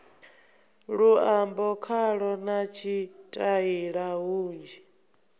luambo khalo na tshitaila hunzhi